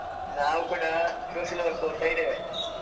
ನಾವು ಕೂಡ social work ಓದ್ತಾ ಇದ್ದೇವೆ.